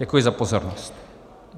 Děkuji za pozornost.